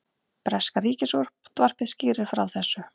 Breska ríkisútvarpið skýrir frá þessu